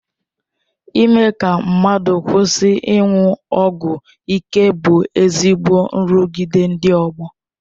Ime ka mmadụ kwụsị ịṅụ ọgwụ ịke bụ ezigbo nrụgide ndị ọgbọ.